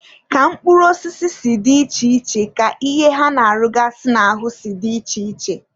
Ka mkpụrụ osisi si dị iche iche ka ihe ha na-arụgasị n'ahụ si dị iche iche.